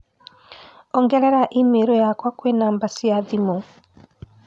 ongerera i-mīrū yakwa kwi namba cia thimũ